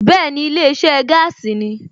Bẹ́ẹ̀ni ilé iṣẹ́ gaasi ni